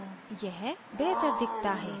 यह बेहतर दिखता है